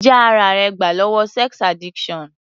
Já ara rẹ gbà lọ́wọ́ sex addiction.